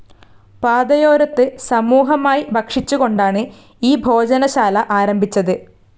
പാതയോരത്തു സമൂഹമായി ഭക്ഷിച്ചുകൊണ്ടാണ് ഈ ഭോജനശാലആരംഭിച്ചത്.